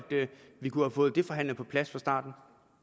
vi kunne have fået det forhandlet på plads fra starten